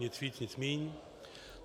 Nic víc, nic méně.